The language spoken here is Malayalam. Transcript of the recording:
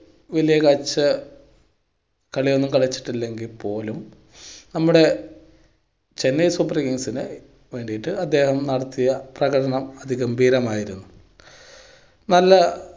വല്ല്യ കാഴ്ച കളിയൊന്നും കളിച്ചിട്ടില്ലെങ്കിൽ പോലും നമ്മുടെ ചെന്നൈ super kings ന് വേണ്ടിയിട്ട് അദ്ദേഹം നടത്തിയ പ്രകടനം അതിഗംഭീരം ആയിരുന്നു. നല്ല